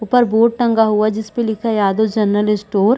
ऊपर बोर्ड टंगा हुआ जिसपे लिखा है यादव जनरल स्टोर --